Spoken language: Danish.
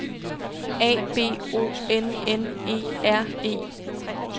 A B O N N E R E